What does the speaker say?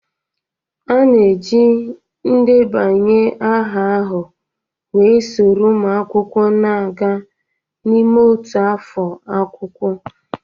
A na-eji ndebanye aha ahụ wee soro ụmụ akwụkwọ na-aga n'ime otu afọ akwụkwọ.